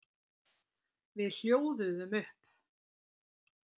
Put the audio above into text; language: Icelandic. Við hljóðuðum upp.